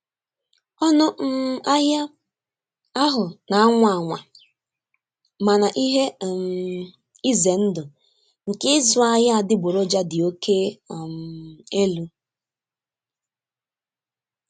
Ọnụ um ahịa ahụ na-anwa anwa, mana ihe um ize ndụ nke ịzụ ahịa adịgboroja dị oke um elu.